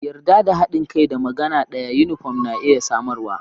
Yarda da haɗin kai da magana da yunifom na iya samarwa.